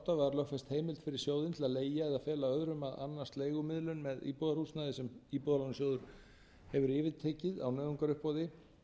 og átta var lögfest heimild fyrir sjóðinn til að leigja eða fela öðrum að annast leigumiðlun með íbúðarhúsnæði sem íbúðalánasjóður hefur yfirtekið á nauðungaruppboði